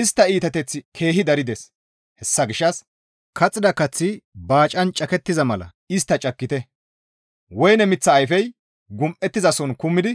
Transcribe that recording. Istta iitateththi keehi darides; hessa gishshas kaxxida kaththi baacan cakettiza mala istta cakkite; woyne miththa ayfey gum7ettizason kumidi